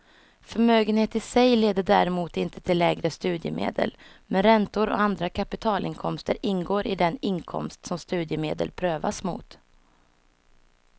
Förmögenhet i sig leder däremot inte till lägre studiemedel, men räntor och andra kapitalinkomster ingår i den inkomst som studiemedel prövas mot.